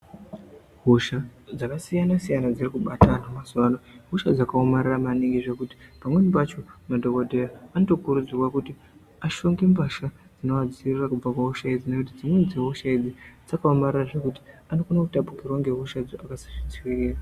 Hosha dzakasiyana siyana dziri kubata antu mazuwa ano ihosha dzakaomarara maningi. Zvekuti pamweni pacho madhokodheya anotokurudzirwa kuti ashonge mbasha dzinovadziirira kubva kuhosha idzi. Ngekuti dzimweni dzehosha idzi dzakaomarara zvekuti anokone kutapukirwa ngehosha dzo akasazvidziirira.